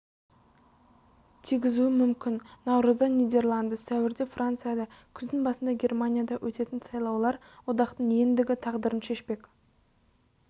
тигізуі мүмкін наурызда нидерланды сәуірде францияда күздің басында германияда өтетін сайлаулар одақтың ендігі тағдырын шешпек